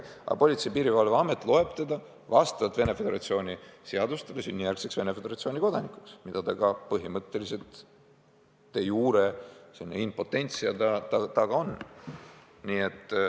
Aga Politsei- ja Piirivalveamet loeb ta vastavalt Venemaa Föderatsiooni seadustele sünnijärgseks Venemaa Föderatsiooni kodanikuks, mida ta ka põhimõtteliselt de jure, see on impotentia ka on.